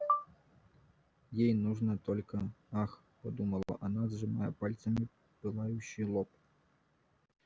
ей нужно только ах подумала она сжимая пальцами пылающий лоб